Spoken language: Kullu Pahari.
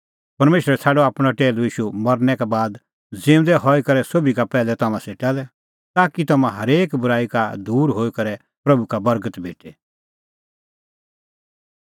परमेशरै छ़ाडअ आपणअ टैहलू ईशू मरनै का बाद ज़िऊंदै हई करै सोभी का पैहलै तम्हां सेटा लै ताकि तम्हां हरेक बूराई का दूर हई करै प्रभू का बर्गत भेटे